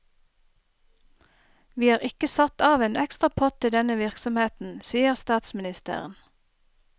Vi har ikke satt av en ekstra pott til denne virksomheten, sier statsministeren.